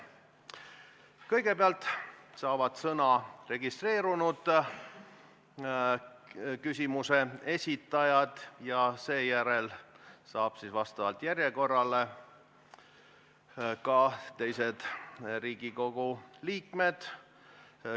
Kõigepealt saavad sõna registreerunud küsimuse esitajad ja seejärel vastavalt järjekorrale ka teised Riigikogu liikmed.